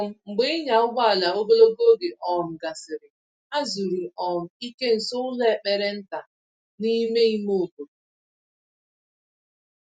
um Mgbe ịnya ụgbọala ogologo oge um gasịrị, ha zuru um ike nso ụlọ ekpere nta n’ime ime obodo.